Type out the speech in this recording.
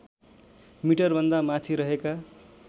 मिटरभन्दा माथि रहेका